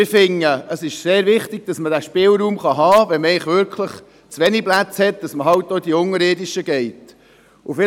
Wir finden es aber sehr wichtig, dass man den Spielraum hat, wenn man zu wenige Plätze hat, sodass man auch in die unterirdischen Unterkünfte gehen kann.